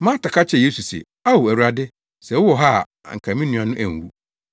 Marta ka kyerɛɛ Yesu se, “Ao, Awurade, sɛ wowɔ ha a anka me nua no anwu!